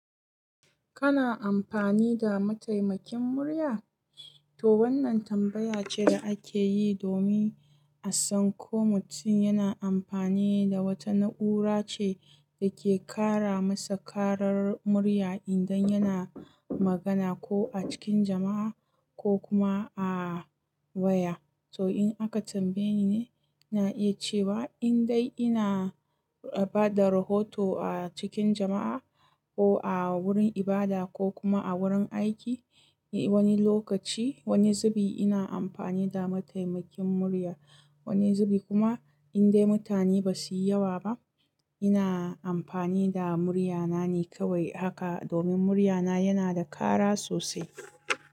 Kana amfani da mataimakin murya? To wannan tambaya ce da ake yi domin a san ko mutum yana amfani da wata na'ura ce da ke kara masa karar murya idan yana magana ko a cikin jama'a ko kuma a waya. To in aka tambaye ni ne, na iya cewa indai ina ba da rahoto a cikin jama'a ko a wurin ibada ko kuma a wurin aiki wani lokaci, wani zubi ina amfani da mataimakin murya. Wani zubi kuma indai mutane ba su yi yawa ba ina amfani da muryana ne kawai haka domin muryana yana da kara sosai.